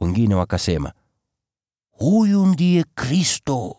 Wengine wakasema, “Huyu ndiye Kristo!”